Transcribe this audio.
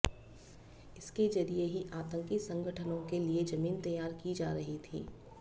इसके जरिए ही आतंकी संगठनों के लिए जमीन तैयार की जा रही थी